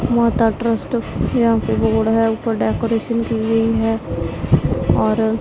माता ट्रस्ट यहां पे बोर्ड है ऊपर डेकोरेशन की गई है और--